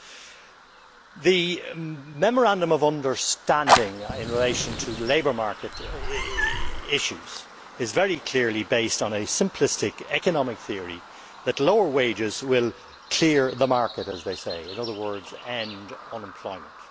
Mr President, the Memorandum of Understanding in relation to labour market issues is very clearly based on a simplistic economic theory that lower wages will clear the market', in other words, end unemployment.